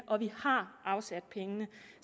og vi har afsat penge